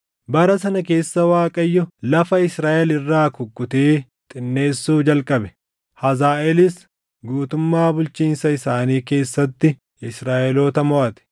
Bara sana keessa Waaqayyo lafa Israaʼel irraa kukkutee xinneessuu jalqabe. Hazaaʼeelis guutummaa bulchiinsa isaanii keessatti Israaʼeloota moʼate;